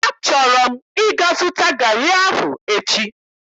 Achọrọ m ịga zụta garị ahụ echi.